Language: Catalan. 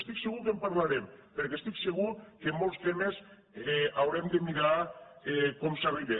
estic segur que en parlarem perquè estic segur que en molts temes haurem de mirar com s’hi arriba